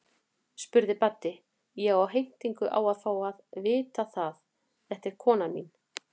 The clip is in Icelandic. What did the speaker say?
spurði Baddi, ég á heimtingu á að fá að vita það, þetta er konan mín.